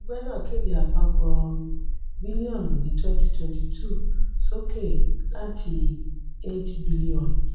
ẹgbẹ́ náà kéde àpapọ̀ bilionu ni twenty twenty two sókè láti eight bilionu.